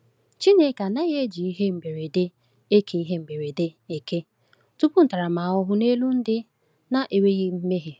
Chineke anaghị eji ihe mberede eke ihe mberede eke tụpụ ntaramahụhụ n’elu ndị na-enweghị mmehie.